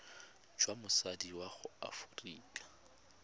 jwa motsadi wa mo aforika